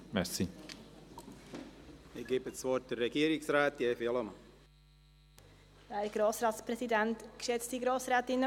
Ich erteile das Wort der Regierungsrätin Evi Allemann.